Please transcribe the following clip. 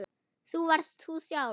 Þú varst þú sjálf.